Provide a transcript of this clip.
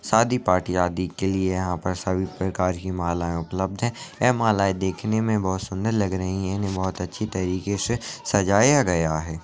सादी पार्टी आदि के लिए यहाँ पर सभी प्रकार की मालाए उपलब्ध हैं। यह मालाए देखने में बहोत सुंदर लग रही हैं। इन्हे बहोत अच्छी तरीके से सजाया गया है।